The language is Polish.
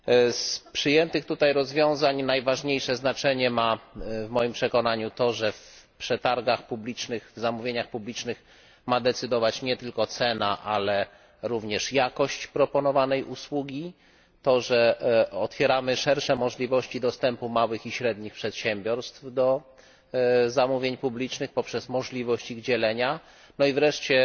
Z przyjętych tutaj rozwiązań najważniejsze znaczenie w moim przekonaniu ma to, że w przetargach publicznych, zamówieniach publicznych ma decydować nie tylko cena, ale również jakość proponowanej usługi, fakt że otwieramy szersze możliwości dostępu małych i średnich przedsiębiorstw do zamówień publicznych poprzez możliwość ich dzielenia, no i wreszcie